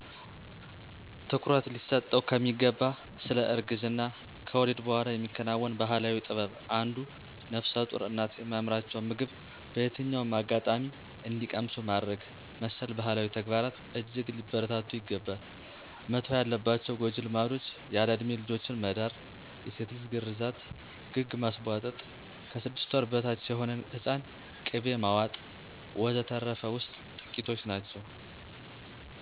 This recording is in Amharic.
ትኩረት ሊሰጠው ከሚገባ ስለ እርግዝና/ከወሊድ በኋላ የሚከናወን ባህላዊ ጥበብ አንዱ ነፍሰጡር እናቶ የሚያምራቸውን ምግብ በየትኛውም አጋጣሚ እንዲቀምሱ ማድረግ መሰል ባህላዊ ተግባራት እጅግ ሊበረታቱ ይገባል። መተው ያለባቸው ጎጂ ልማዶች ያለእድሜ ልጆችን መዳር፣ የሴት ልጅ ግርዛት፣ ግግ ማስቧጠጥ፣ ከስድስት ወር በታች የሆነን ህፃን ቅቤ ማዋጥ፣ ወዘተርፈ ውስጥ ጥቂቶች ናቸው።